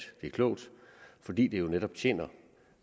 og klogt fordi det jo netop tjener